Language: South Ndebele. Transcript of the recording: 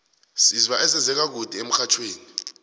sizwa ezenze ka kude emxhajhewi